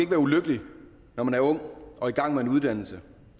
være ulykkelig når man er ung og i gang med en uddannelse